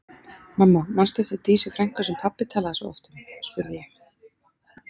Mamma, manstu eftir Dísu frænku sem pabbi talaði svo oft um? spurði ég.